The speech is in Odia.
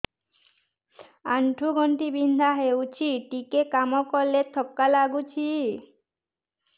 ଆଣ୍ଠୁ ଗଣ୍ଠି ବିନ୍ଧା ହେଉଛି ଟିକେ କାମ କଲେ ଥକ୍କା ଲାଗୁଚି